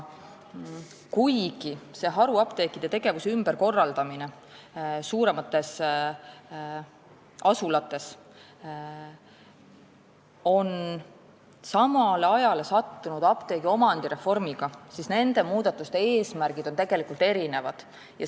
Kuigi haruapteekide tegevuse ümberkorraldamine suuremates asulates on sattunud samale ajale apteegiomandi reformiga, on nende muudatuste eesmärgid tegelikult erinevad.